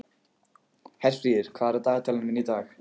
Herfríður, hvað er í dagatalinu mínu í dag?